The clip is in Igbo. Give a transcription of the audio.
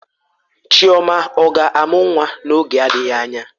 Chioma ọ ga-amụ nwa oge adịghị anya?